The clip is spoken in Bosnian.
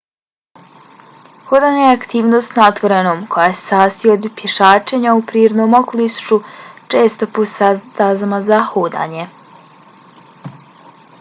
hodanje je aktivnost na otvorenom koja se sastoji od pješačenja u prirodnom okolišu često po stazama za hodanje